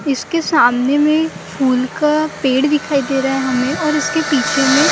इसके सामने भी फूल का पेड़ दिखाई दे रहा हैं हमें और इसके पीछे में।